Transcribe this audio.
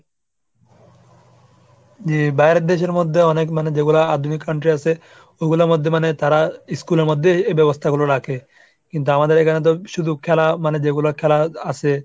জি বাইরের দেশের মধ্যেও অনেক মানে যেগুলা আধুনিক country আসে, ওগুলোর মধ্যে মানে তারা school এর মধ্যে এই ব্যবস্থা গুলো রাখে। কিন্তু আমাদের এখানে তো শুধু খেলা মানে যেগুলা খেলা আসে,